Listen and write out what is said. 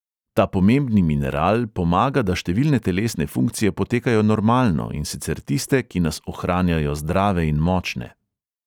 Ta pomembni mineral pomaga, da številne telesne funkcije potekajo normalno, in sicer tiste, ki nas ohranjajo zdrave in močne.